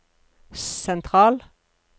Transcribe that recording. sentral